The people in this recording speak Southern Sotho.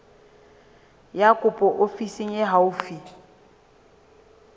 ya kopo ofising e haufi